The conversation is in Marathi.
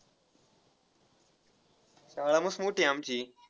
शाळा मस्त मोठी आहे आमची.